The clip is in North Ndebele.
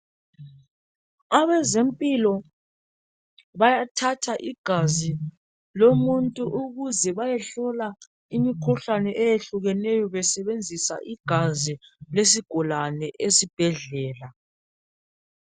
Abezempilo bayathatha igazi lomuntu ukuze bayehlola imikhuhlane eyehlukeneyo besebenzisa igazi lesigulane esibhedlela.